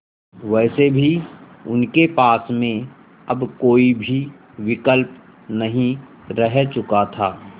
वैसे भी उनके पास में अब कोई भी विकल्प नहीं रह चुका था